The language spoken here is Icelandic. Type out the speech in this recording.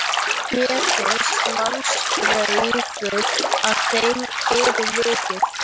Mér finnst mannsbragur að þeim fyrir vikið.